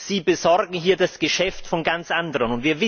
Sie besorgen hier das Geschäft von ganz anderen.